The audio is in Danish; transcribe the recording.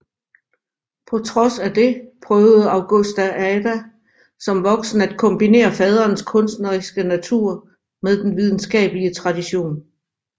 På trods af det prøvede Augusta Ada som voksen at kombinere faderens kunstneriske natur med den videnskabelige tradition